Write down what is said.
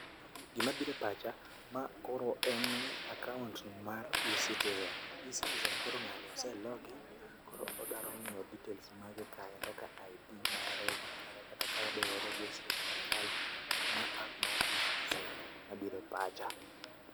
Gima biro e pacha ,ma koro en akaunt mar eCitizen. eCitizen koro ng'ani ose log in koro odwaro ngiyo details mage kanyo kaka ID mare kar kanyo kata ka o register e sirkal koro ma app mar eCitizen mabiro e pacha